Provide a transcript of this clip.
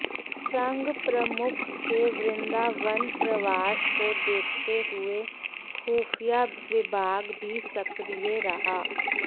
संघ प्रमुख के वृंदावन प्रवास को देखते हुए खुफिया विभाग भी सक्रिय रहा